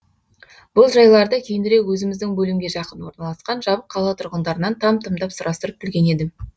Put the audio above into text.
бұл жайларды кейінірек өзіміздің бөлімге жақын орналасқан жабық қала тұрғындарынан там тұмдап сұрастырып білген едім